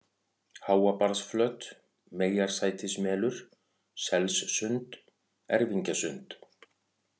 Háabarðsflöt, Meyjarsætismelur, Selssund, Erfingjasund